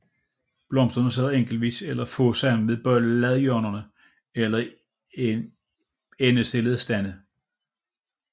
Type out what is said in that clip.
Blomsterne sidder enkeltvis eller få sammen ved bladhjørnerne eller i endestillede stande